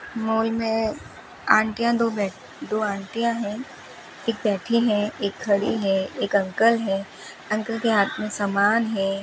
Mall में आंटियां दो बैठ दो आंटियां है एक बैठी है एक खड़ी है एक अंकल है अंकल के हाथ में समान है।